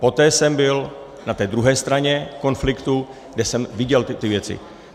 Poté jsem byl na té druhé straně konfliktu, kde jsem viděl ty věci.